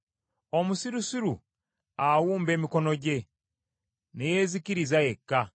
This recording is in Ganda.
Omusirusiru awumba emikono gye, ne yeezikiriza yekka.